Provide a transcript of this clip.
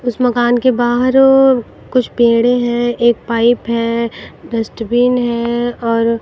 उस मकान के बाहर कुछ पेड़े हैं एक पाइप है डस्टबिन है और--